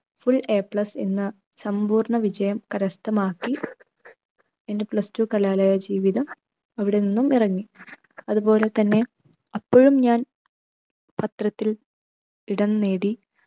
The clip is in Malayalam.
full A plus എന്ന സമ്പൂർണ്ണ വിജയം കരസ്ഥമാക്കി എൻ്റെ plus two കലാലയ ജീവിതം അവിടെ നിന്നും ഇറങ്ങി. അതുപോലെ തന്നെ അപ്പോഴും ഞാൻ പത്രത്തിൽ ഇടം നേടി